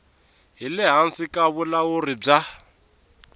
le hansi ka vulawuri bya